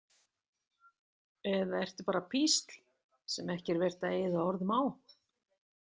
Eða ertu bara písl sem ekki er vert að eyða orðum á?